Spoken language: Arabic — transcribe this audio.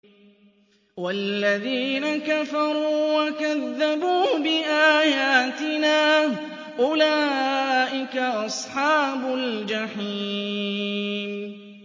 وَالَّذِينَ كَفَرُوا وَكَذَّبُوا بِآيَاتِنَا أُولَٰئِكَ أَصْحَابُ الْجَحِيمِ